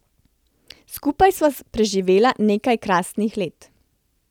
Skupaj sva preživela nekaj krasnih let.